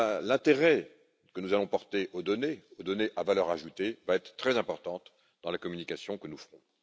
L'intérêt que nous allons donc porter aux données, aux données à valeur ajoutée, va être très importante dans la communication que nous ferons.